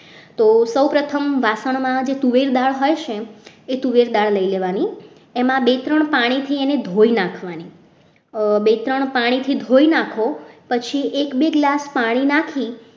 તો સૌ પ્રથમ વાસણમાં જે તુવેર દાળ હોય છે એ તુવેર દાળ લઈ લેવાની એમાં બે ત્રણ પાણીથી અને ધોઈ નાખવાની બે ત્રણ પાણીથી ધોઈ નાખો પછી એક બે glass પાણી નાખી